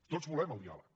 tots volem el diàleg